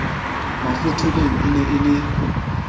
mafotholeng e ne e le